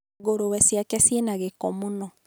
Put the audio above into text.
ngũrũwe ciake ciĩ na gĩko mũno.